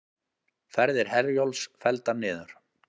Ferðir Herjólfs felldar niður